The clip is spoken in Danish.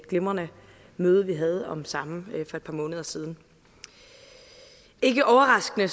glimrende møde vi havde om samme for et par måneder siden ikke overraskende